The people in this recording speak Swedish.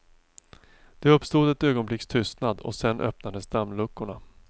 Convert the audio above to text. Det uppstod ett ögonblicks tystnad och sedan öppnades dammluckorna.